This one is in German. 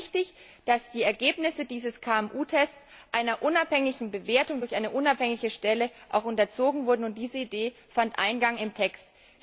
Mir war es wichtig, dass die Ergebnisse dieses KMU Tests einer unabhängigen Bewertung durch eine unabhängige Stelle unterzogen werden, und diese Idee fand Eingang in den Text.